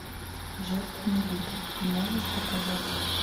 жертвенный лик ты можешь показать